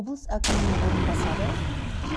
облыс әкімінің орынбасары